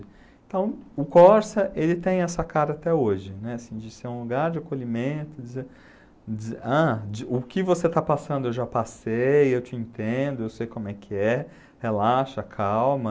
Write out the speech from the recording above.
Então, o Corsa ele tem essa cara até hoje, né, assim de ser um lugar de acolhimento, de dizer dizer ah, o que você está passando eu já passei, eu te entendo, eu sei como é que é, relaxa, calma...